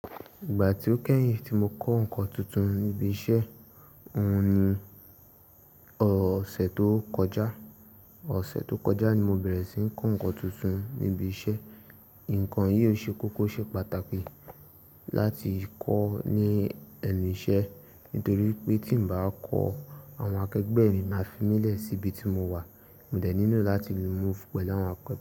Ìgbà tí ó kẹ́yìn tí mo kọ́ ǹkan tuntun níbi iṣẹ́, òun ni ọ̀sẹ̀ tó kọjá. Ọ̀sẹ̀ tó kọjá ni mo bẹ̀rẹ̀ sí ní kọ́ ǹkan tuntun níbi iṣẹ́. Ǹkan yìí ó ṣe kókó o ṣe pàtàkì láti kọ́ ní ẹnu iṣẹ́ nítorí pé tí n bá kọ́, àwọn akẹgbẹ́ mi máa fi mí lè sí ibi tí mo wà. Mo dẹ̀ nilo láti lu move pẹ̀lú àwọn akẹ.